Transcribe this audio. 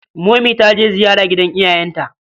Momi ta je ziyara gidan iyayenta.